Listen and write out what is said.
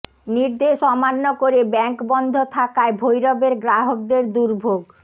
নির্দেশ অমান্য করে ব্যাংক বন্ধ থাকায় ভৈরবের গ্রাহকদের দুর্ভোগ